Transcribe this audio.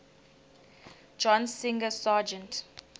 john singer sargent